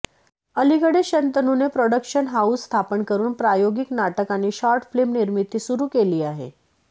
अलिकडेच शंतनूने production house स्थापन करून प्रायोगिक नाटक आणि शॉर्टफिल्म निर्मिती सुरू केली आहे